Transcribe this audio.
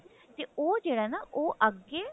ਤੇ ਉਹ ਜਿਹੜਾ ਹੈ ਨਾ ਉਹ ਅੱਗੇ